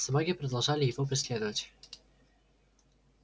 собаки продолжали его преследовать